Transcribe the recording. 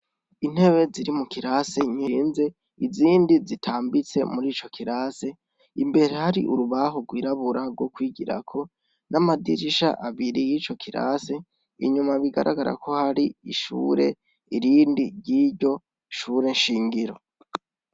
Intebe ziri mu kirase zirenze izindi zitambitse murico. kirasi imbere hari urubaho rwirabura rwo kwigirako n'amadirisha abiri yico kirase inyuma hari amashuri irindi ryiryo shuri shingiro.